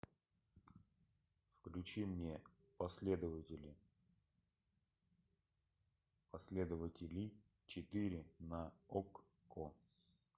включи мне последователи последователи четыре на окко